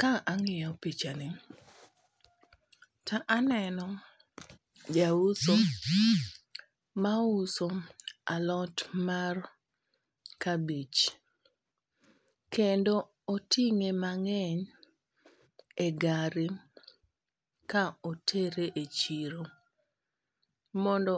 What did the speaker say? Ka ang'iyo pichani to aneno ja uso ma uso alot mar kabich. Kendo oting'e mang'eny e gari ka otere e chiro. Mondo